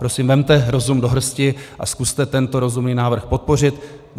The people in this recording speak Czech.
Prosím, vezměte rozum do hrsti a zkuste tento rozumný návrh podpořit.